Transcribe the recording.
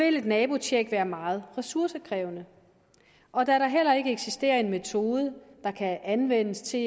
et nabotjek være meget ressourcekrævende og da der heller ikke eksisterer en metode der kan anvendes til